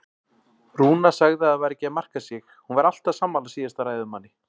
Rúna sagði að það væri ekki að marka sig, hún væri alltaf sammála síðasta ræðumanni.